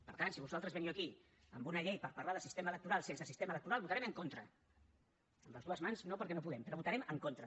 per tant si vosaltres veniu aquí amb una llei per parlar de sistema electoral sense sistema electoral votarem en contra amb les dues mans no perquè no podem però hi votarem en contra